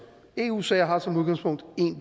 eu sager har som udgangspunkt én